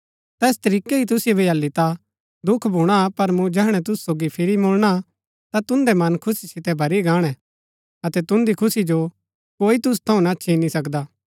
तैस तरीकै ही तुसिओ भी हालि ता दुख भूणा पर मूँ जैहणै तुसु सोगी फिरी मुळणा ता तुन्दै मन खुशी सितै भरी गाणै अतै तुन्दी खुशी जो कोई तुसु थऊँ ना छिनी सकदा